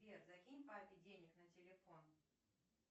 сбер закинь папе денег на телефон